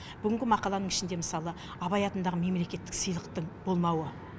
бүгінгі мақаланың ішінде мысалы абай атындағы мемлекеттік сыйлықтың болмауы